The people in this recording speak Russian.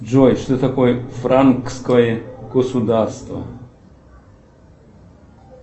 джой что такое франкское государство